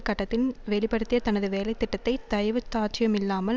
கட்டத்தின் வெளி படுத்திய தனது வேலை திட்டத்தை தயவுதாட்ச்சயமில்லாமல்